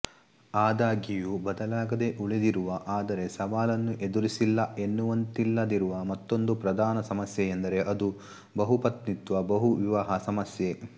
ಆದಾಗ್ಯೂ ಬದಲಾಗದೇ ಉಳಿದಿರುವ ಆದರೆ ಸವಾಲನ್ನು ಎದುರಿಸಿಲ್ಲ ಎನ್ನುವಂತಿಲ್ಲದಿರುವ ಮತ್ತೊಂದು ಪ್ರಧಾನ ಸಮಸ್ಯೆಯೆಂದರೆ ಅದು ಬಹುಪತ್ನಿತ್ವಬಹುವಿವಾಹ ಸಮಸ್ಯೆ